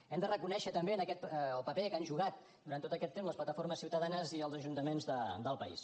hem de reconèixer també el paper que han jugat durant tot aquest temps les plataformes ciutadanes i els ajuntaments del país